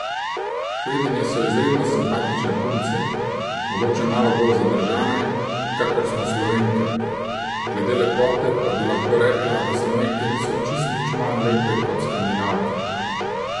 Švedinje so izredno simpatične punce, mogoče malo bolj zadržane, kakor smo Slovenke, glede lepote pa bi lahko rekla, da Slovenke niso čisto nič manj lepe kot Skandinavke.